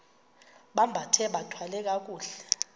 bambathe bathwale kakuhle